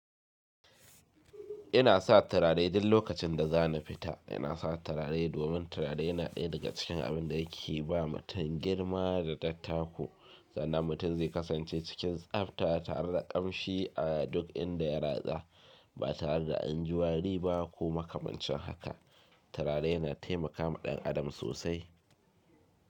Ina sa turare duk lokacin da za ni fita. Ina sa turare domin turare yana ɗaya daga cikin abin da yake ba mutum girma da dattako sannan mutum zai kasance cikin tsabta tare da ƙamshi a duk inda ya ratsa ba tare da anjiwari ba ko makamancin haka. Turare yana taimakawa ɗan adam sosai.